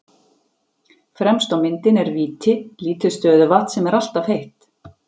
Fremst á myndinni er Víti, lítið stöðuvatn sem er alltaf heitt.